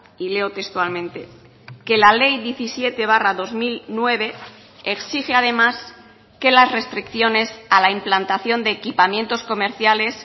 y leo textualmente que la ley diecisiete barra dos mil nueve exige además que las restricciones a la implantación de equipamientos comerciales